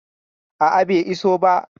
A a, bai iso ba.